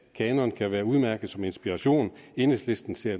kanon kan være udmærket som inspiration enhedslisten ser